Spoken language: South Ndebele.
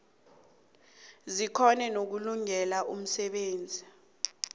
zikghone nokulungelela umsebenzi